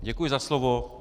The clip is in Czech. Děkuji za slovo.